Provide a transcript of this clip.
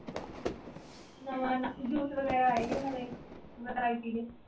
ਨਵਾਂ ਜੂਸ ਵਗੇਰਾ ਆਏ ਨਵੇਂ ਦੇ ?